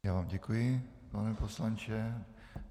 Já vám děkuji, pane poslanče.